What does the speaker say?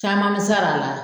Caman mi se hal'a la.